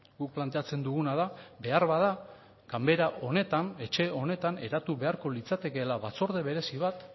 guk planteatzen duguna da beharbada ganbara honetan etxe honetan eratu beharko litzatekeela batzorde berezi bat